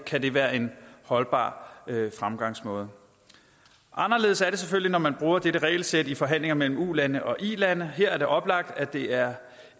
kan det være en holdbar fremgangsmåde anderledes er det selvfølgelig når man bruger dette regelsæt i forhandlinger mellem ulande og ilande her er det oplagt at det er